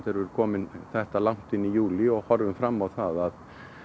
erum komin þetta langt inn í júlí og horfum fram á það